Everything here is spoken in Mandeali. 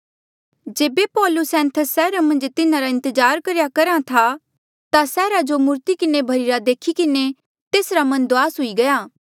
जेबे पौलुस एथेंस सैहरा मन्झ तिन्हारा इंतजार करेया करहा था ता सैहरा जो मूर्ति किन्हें भर्ही रा देखी किन्हें तेसरा मन दुआस हुई गया